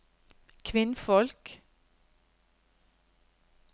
kvinnfolk